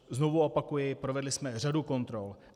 Znovu opakuji, provedli jsme řadu kontrol.